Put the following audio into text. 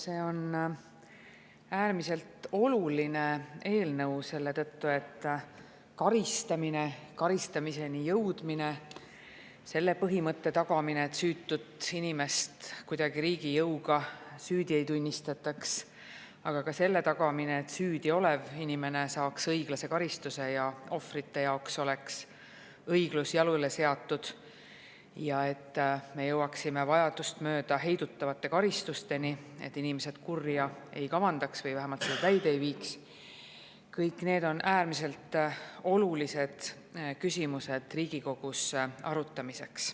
See on äärmiselt oluline eelnõu selle tõttu, et karistamine, karistamiseni jõudmine, selle põhimõtte tagamine, et süütut inimest kuidagi riigi jõuga süüdi ei tunnistataks, aga ka selle tagamine, et süüdi olev inimene saaks õiglase karistuse ja ohvrite jaoks oleks õiglus jalule seatud ja et me jõuaksime vajadust mööda heidutavate karistusteni, et inimesed kurja ei kavandaks või vähemalt seda täide ei viiks – kõik need on äärmiselt olulised küsimused Riigikogus arutamiseks.